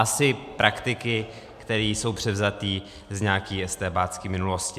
Asi praktiky, které jsou převzaté z nějaké estébácké minulosti.